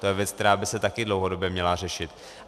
To je věc, která by se také dlouhodobě měla řešit.